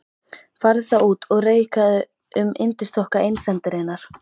Farðu þá út og reikaðu um yndisþokka einsemdarinnar.